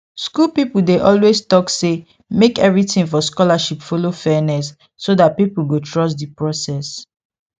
school people dey always talk say make everything for scholarship follow fairness so that people go trust the process